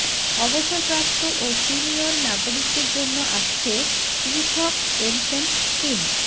অবসরপ্রাপ্ত ও সিনিয়র নাগরিকদের জন্য আসছে পৃথক পেনশন স্কিম